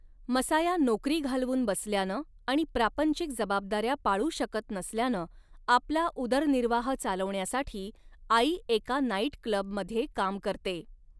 Messiah नोकरी घालवून बसल्यानं आणि प्रापंचिक जबाबदाऱ्या पाळू शकत नसल्यानं आपला उदरनिर्वाह चालवण्यासाठी आई एका नाईट क्लबमध्ये काम करते.